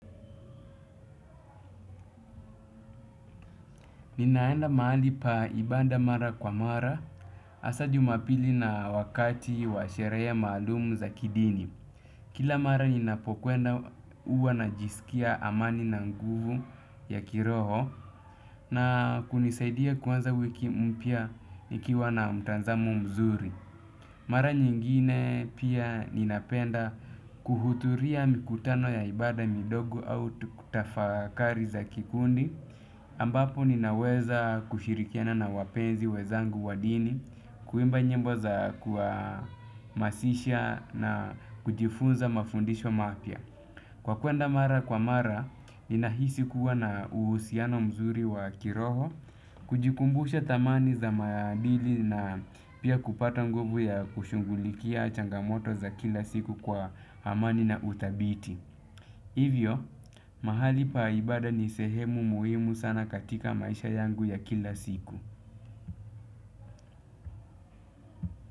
Ninaenda mahali pa ibada mara kwa mara hasa Jumapili na wakati wa sherehe maalumu za kidini. Kila mara ninapokwenda huwa najisikia amani na nguvu ya kiroho na kunisaidia kuanza wiki mpya nikiwa na mtazamo mzuri. Mara nyingine pia ninapenda kuhudhuria mikutano ya ibada midogo au tafakari za kikundi. Ambapo ninaweza kushirikiana na wapenzi wenzangu wa dini, kuimba nyimbo za kuwahamasisha na kujifunza mafundisho mapya. Kwa kuenda mara kwa mara, ninahisi kuwa na uhusiano mzuri wa kiroho, kujikumbusha thamani za maadili na pia kupata nguvu ya kushughulikia changamoto za kila siku kwa amani na udhabiti. Hivyo, mahali pa ibada ni sehemu muhimu sana katika maisha yangu ya kila siku.